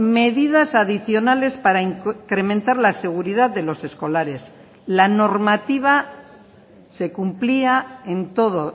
medidas adicionales para incrementar la seguridad de los escolares la normativa se cumplía en todo